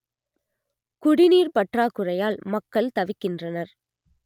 குடிநீர் பற்றாக்குறையால் மக்கள் தவிக்கின்றனர்